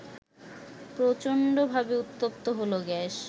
প্রচণ্ডভাবে উত্তপ্ত হল গ্যাস